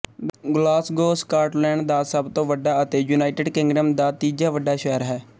Glasgow Scotland ਦਾ ਸਭ ਤੋਂ ਵੱਡਾ ਅਤੇ ਯੂਨਾਇਟੇਡ ਕਿੰਗਡਮ ਦਾ ਤੀਜਾ ਵੱਡਾ ਸ਼ਹਿਰ ਹੈ